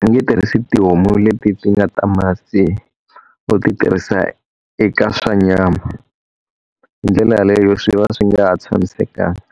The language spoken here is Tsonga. u nge tirhisi tihomu leti ti nga ta masi, u ti tirhisa eka swa nyama. Hi ndlela yeleyo swi va swi nga ha tshamisekanga.